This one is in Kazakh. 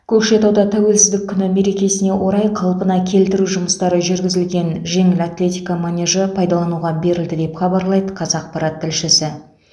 көкшетауда тәуелсіздік күні мерекесіне орай қалпына келтіру жұмыстары жүргізілген жеңіл атлетика манежі пайдалануға берілді деп хабарлайды қазақпарат тілшісі